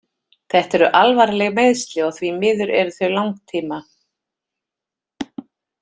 Þetta eru alvarleg meiðsli og því miður eru þau langtíma.